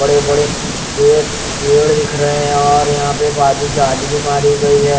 बड़े-बड़े स्ट्रेट पेड़ दिख रहे हैं और यहाँ पे बाजू जाली भी मारी गई है।